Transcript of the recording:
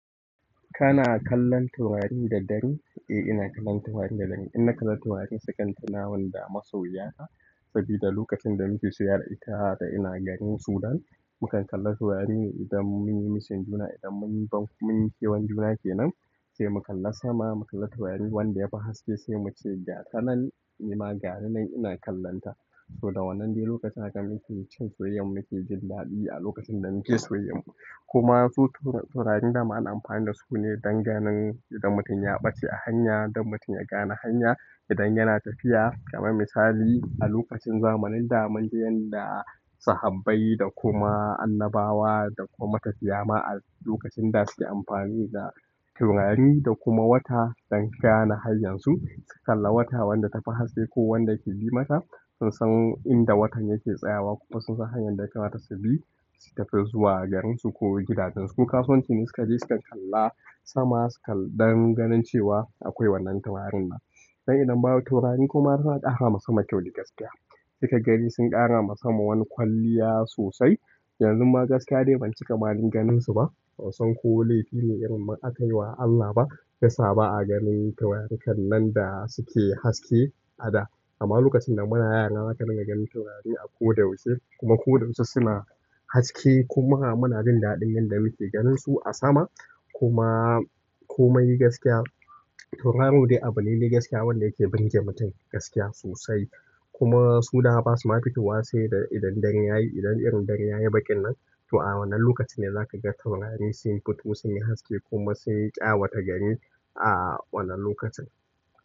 Kana a kallon taurarin da daddare? Eh, ina kallon taurarin da dare. Ina kalla taurarin sukan tunamun da masoya na. Saboda lokacin da muke soyyayya da ita da ina garin Sudan, mukan kalla taurarine idan mun yi massing juna, idan mun yi banki mub yi kewan juna ke nan sai mu kalla sama, mu kalla taurari wanda yafi haske sai mu ce ga, tanan ni ma gani nan ina kallonta. So da wannan dai lokacin da muke cin soyayyar mu muke jin daɗi a lokacin da muke soyayyar mu. Kuma su taurarin da ma ana amfani da su ne don ganin idan mutum ya ɓace a hanya, don mutum ya gane hanya idan yana tafiya. Kaman misali a lokacin zamanin da munji yan da sahabbai da kuma annabawa da kuma matafiya ma'a lokacin da suke amfani da taurari da kuma wata don gane hanyarsu, su kalla wata wanda tafi haske ko wanda ke bi mata sun san inda watan yake tsayawa kuma sun san hanyar da yakamata su bi su tafi zuwa garinsu ko gidajensu. Kasuwanci ne suka je sukan kalla sama sukan don ganin cewa akwai wannan taurarin nan. Dan idan babu taurari kuma suna ƙara ma sama kyau da gaskiya. Sai ka gani sun ƙara ma sama wani kwalliya sosai. Yanzunma gaskiya ni ban cikama dai ganinsu ba bansaniba ko laifine akayiwa Allah ba shiyasa ba a ganin taurarikannan da suke haske a da. Amma lokacin da muna yara zaka dinga ganin taurari a ko da yaushe kuma ko da yaushe suna haske kuma muna jin daɗin yanda muke ganinsu a sama. Kuma komai gaskiya tauraro dai abu ne dai gaskiya wanda yake burge mutum gaskiya sosai. Kuma su dama ba su ma fitowa sai idan dare yayi, idan irin dare yayi baƙin nan to a wannan lokacin ne za ka ga taurari sun fito sun yi haske kuma sun yi ƙyawa ta gari a wannan lokacin.